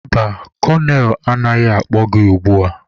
Mba, kolonel anaghị akpọ gị ugbua.